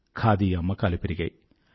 ఖాదీ అమ్మకాలు పెరిగాయి